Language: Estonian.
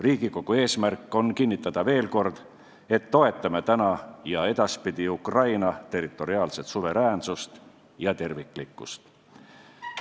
Riigikogu eesmärk on kinnitada veel kord, et toetame täna ja edaspidi Ukraina territoriaalset suveräänsust ja terviklikkust.